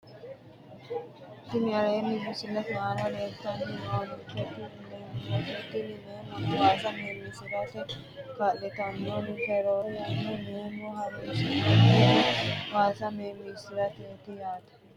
Tini aleenni misilete aana leeltanni noonketi meemote tini meemo waasa meemiissirate kaa'litannonke roore yanna meemo horonsi'nannihu baadiyyete olliira horonsi'nanni yaate